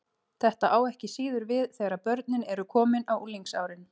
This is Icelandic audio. Þetta á ekki síður við þegar börnin eru komin á unglingsárin.